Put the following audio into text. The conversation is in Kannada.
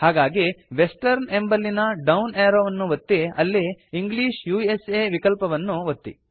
ಹಾಗಾಗಿ ವೆಸ್ಟರ್ನ್ ಎಂಬಲ್ಲಿನ ಡೌನ್ ಏರೋ ವನ್ನು ಒತ್ತಿ ಅಲ್ಲಿ ಇಂಗ್ಲಿಷ್ ಉಸಾ ವಿಕಲ್ಪವನ್ನು ಒತ್ತಿ